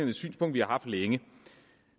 et synspunkt vi har haft længe